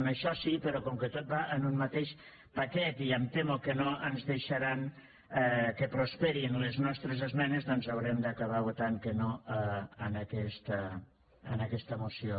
en això sí però com que tot va en un mateix paquet i em temo que no ens deixaran que prosperin les nostres esmenes doncs haurem d’acabar votant que no en aquesta moció